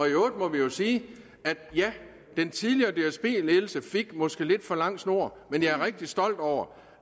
øvrigt må vi jo sige at ja den tidligere dsb ledelse fik måske lidt for lang snor men jeg er rigtig stolt over